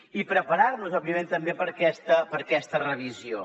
i preparar nos òbviament també per a aquesta revisió